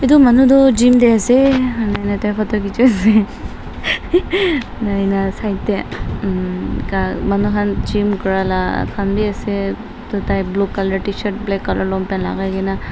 etu manu tu gym te ase ena hoi a ti photo khichi wole nai na side te umm ka manu han gym kura la khan wi ase toh tai blue colour tshirt black colour long pant lagai kena --